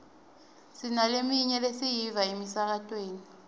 sinaleminye lesiyiva emsakatweni